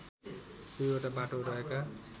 २ वटा बाटो रहेका